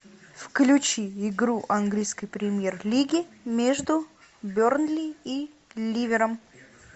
включи игру английской премьер лиги между бернли и ливером